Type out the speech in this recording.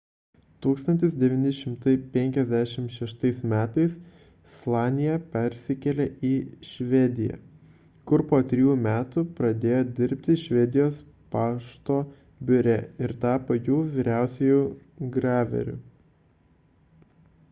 1956 m slanija persikėlė į švediją kur po trijų metų pradėjo dirbti švedijos pašto biure ir tapo jų vyriausiuoju graveriu